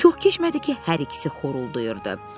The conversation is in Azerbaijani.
Çox keçmədi ki, hər ikisi xorulduyurdu.